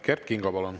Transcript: Kert Kingo, palun!